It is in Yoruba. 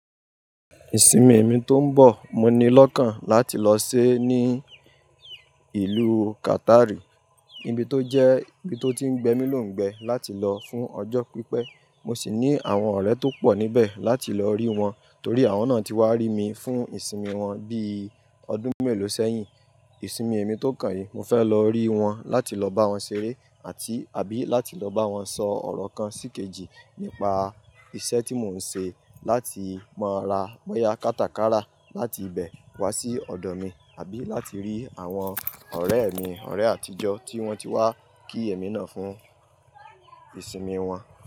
Ìsinmi èmi tó ń bọ̀, mo ní lọ́kàn láti lọ ṣe é ní ìlú Qatar, níbi tó jẹ́ níbi tó ti ń gbẹ mí lóǹgbẹ láti lọ fún ọjọ́ pípẹ́. Mo sì ní àwọn ọ̀rẹ́ tó pọ̀ níbẹ̀ láti lọ rí wọn, torí àwọn náà ti wá rí mi fún ìsinmi wọn bí ọdún mélòó sẹ́yìn. Ìsinmi èmi tó kàn yìí, mo fẹ́ lọ rí wọn láti lọ bá wọn ṣeré àti/àbí láti lọ bá wọn sọ ọ̀rọ̀ kan síkejì nípa iṣẹ́ tí mò ń ṣe láti máa ra bọ̀ya kátakàrà láti ibẹ̀ wá sí ọ̀dọ̀ mi, àbí láti rí àwọn ọ̀rẹ́ mi, ọ̀rẹ́ àtijọ́ tí wọ́n ti wá kí èmi náà fún ìsinmi wọn.